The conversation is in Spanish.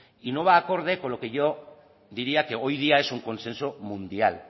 y no va acorde con lo que yo diría que hoy día es un consenso mundial